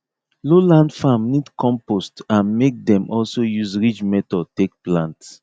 low land farm need compost and make dem also use ridge method take plant